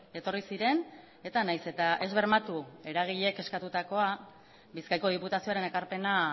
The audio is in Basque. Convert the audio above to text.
etorri ziren eta nahiz eta ez bermatu eragileek eskatutako bizkaiko diputazioaren ekarpena